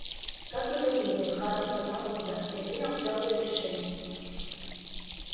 как бы то ни было хардин поднял глаза я принял твёрдое решение